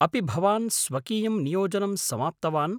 अपि भवान् स्वकीयं नियोजनं समाप्तवान्